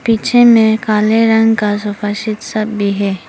पीछे में काले रंग का सोफा सेट सब भी है।